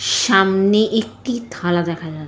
স সামনে একটি থালা দেখা যা--